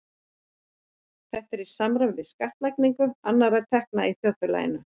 Þetta er í samræmi við skattlagningu annarra tekna í þjóðfélaginu.